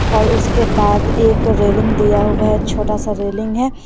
और उसके बाद एक रेलिंग दिया हुआ है छोटा सा रेलिंग है।